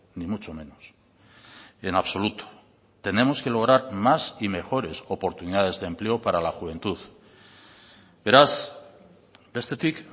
ni mucho menos en absoluto tenemos que lograr más y mejores oportunidades de empleo para la juventud beraz bestetik